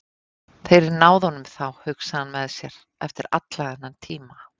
Þeir náðu honum þá, hugsaði hann með sér, eftir allan þennan tíma.